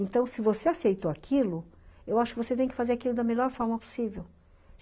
Então, se você aceitou aquilo, eu acho que você tem que fazer aquilo da melhor forma possível.